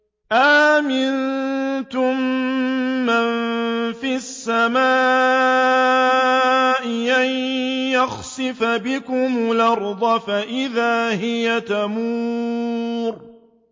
أَأَمِنتُم مَّن فِي السَّمَاءِ أَن يَخْسِفَ بِكُمُ الْأَرْضَ فَإِذَا هِيَ تَمُورُ